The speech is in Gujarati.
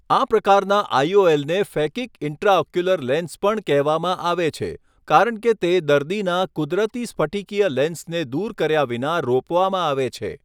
આ પ્રકારના આઈઓએલને ફેકિક ઇન્ટ્રાઓક્યુલર લેન્સ પણ કહેવામાં આવે છે, કારણ કે તે દર્દીના કુદરતી સ્ફટિકીય લેન્સને દૂર કર્યા વિના રોપવામાં આવે છે.